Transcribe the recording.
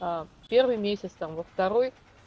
первый месяц там во второй